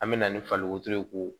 An me na ni faliko ye k'o